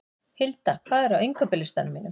Hilda, hvað er á innkaupalistanum mínum?